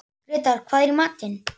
Grétar, hvað er í matinn?